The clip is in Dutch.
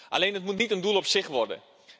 Alleen het moet niet een doel op zich worden.